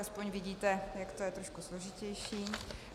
Aspoň vidíte, jak to je trošku složitější.